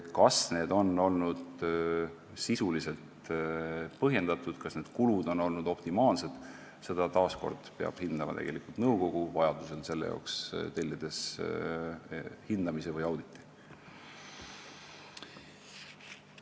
Kas need on olnud sisuliselt põhjendatud ja kas kulud on olnud optimaalsed, seda peab taas kord hindama nõukogu, tellides vajadusel selle jaoks hindamise või auditi.